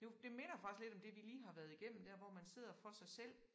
Det jo det minder faktisk lidt om det vi lige har været igennem dér hvor man sidder for sig selv